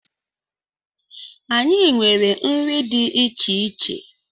Anyị nwere nri dị iche iche.